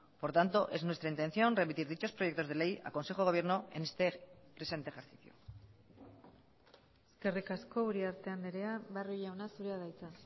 por tanto es nuestra intención remitir dichos proyectos de ley a consejo de gobierno en este presente ejercicio eskerrik asko uriarte andrea barrio jauna zurea da hitza